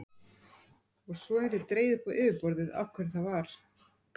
Og svo yrði dregið upp á yfirborðið af hverju það var.